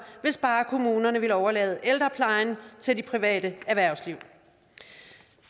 hvis bare kommunerne ville overlade ældreplejen til det private erhvervsliv